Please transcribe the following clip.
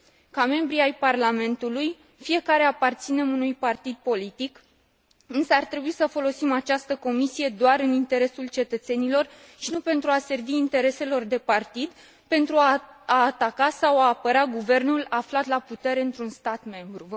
Ca membri ai Parlamentului, fiecare aparținem unui partid politic, însă ar trebui să folosim această comisie doar în interesul cetățenilor și nu pentru a servi intereselor de partid, pentru a ataca sau a apăra guvernul aflat la putere într un stat membru.